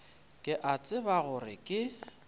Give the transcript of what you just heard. ke a tseba gore ke